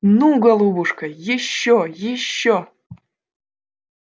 ну голубушка ещё ещё